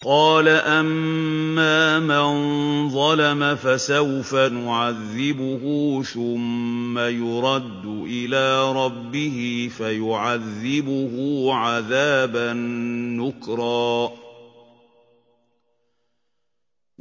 قَالَ أَمَّا مَن ظَلَمَ فَسَوْفَ نُعَذِّبُهُ ثُمَّ يُرَدُّ إِلَىٰ رَبِّهِ فَيُعَذِّبُهُ عَذَابًا نُّكْرًا